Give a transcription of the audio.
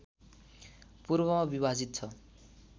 पूर्वमा विभाजित छ